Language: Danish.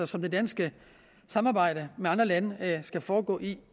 som det danske samarbejde med andre lande skal foregå i